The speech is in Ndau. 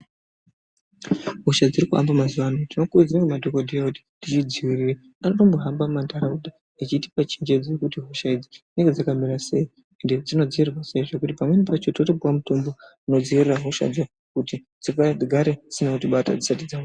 Hosha dziri kuhamba mazuwa ano tinotokurudzirwa ngemadhokodheya kuti tidzidziirire. Anotohamba mumanharaunda echitipa chenjedzo yekuti hosha idzi dzinenge dzakamira sei ende, kuti dzinodziirirwa sei. Pamweni pakhona tinotopuwa mitombo inotodziirira hosha dzo kuti dzigare dzisina kutibata dzisati.